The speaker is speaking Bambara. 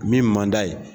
Min man d'a ye